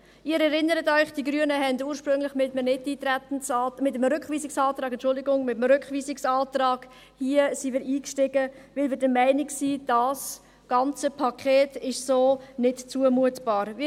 Sie erinnern sich, dass die Grünen ursprünglich mit einem Nichteintretensantrag, entschuldigen Sie, mit einem Rückweisungsantrag, eingestiegen sind, weil wir der Meinung sind, dass dieses ganze Paket so nicht zumutbar ist.